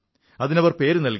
അതിനവർ പേരു നല്കി